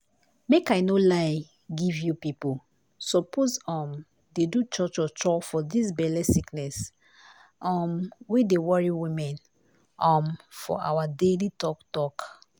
make i no lie give you pipo suppose um dey do cho cho for dis belle sickness um wey dey worry women um for awa daily talk talk